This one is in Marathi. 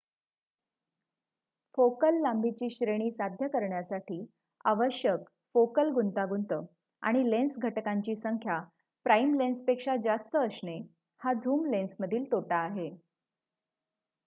फोकल लांबीची श्रेणी साध्य करण्यासाठी आवश्यक फोकल गुंतागुंत आणि लेन्स घटकांची संख्या प्राइम लेन्सपेक्षा जास्त असणे हा झूम लेन्समधील तोटा आहे